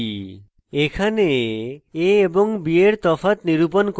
এখানে a এবং b এর তফাৎ নিরূপণ করে